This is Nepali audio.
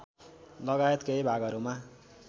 लगायत केही भागहरूमा